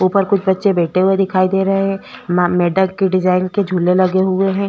ऊपर कुछ बच्चे बैठे हुए दिखाई दे रहै है मेडक के डिज़ाइन के झूले लगे हुए हैं।